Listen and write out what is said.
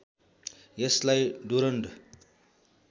यसलाई डुरन्ड